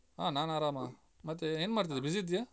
ಹ ನಾನ್ ಆರಾಮ. ಮತ್ತೆ ಏನ್ ಮಾಡ್ತಾ ಇದ್ದಿ? busy ಇದ್ದೀಯಾ?